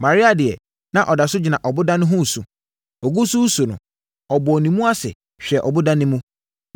Maria deɛ na ɔda so gyina ɔboda no ho resu. Ɔgu so resu no, ɔbɔɔ ne mu ase hwɛɛ ɔboda no mu,